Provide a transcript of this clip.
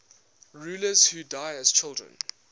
rulers who died as children